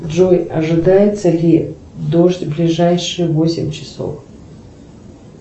джой ожидается ли дождь в ближайшие восемь часов